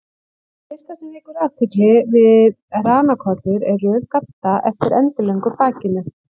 Það fyrsta sem vekur athygli við ranakollur er röð gadda eftir endilöngu bakinu.